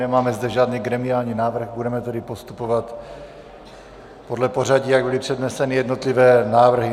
Nemáme zde žádný gremiální návrh, budeme tedy postupovat podle pořadí, jak byly předneseny jednotlivé návrhy.